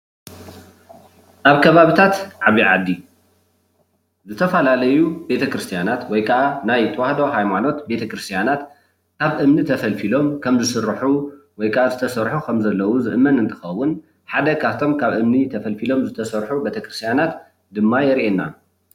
ኣብ ከባቢታት ዓብይ ዓዲ ዝተፈላለዩ ቤተ ክርስትያናት ወይ ከዓ ናይ ተዋህዶ ሃይማኖት ካብ እምኒ ተፈልፊሎም ወይ ከዓ ዝተሰርሑ ከም ዘለዉ ዝእመን እንትከውን ሓደ ካብቶም ካብ እምኒ ተፈልፊሎም ዝተሰርሑ ቤተክርስትያናት ድማ የርእየና፡፡